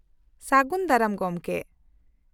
-ᱥᱟᱹᱜᱩᱱ ᱫᱟᱨᱟᱢ ᱜᱚᱢᱠᱮ ᱾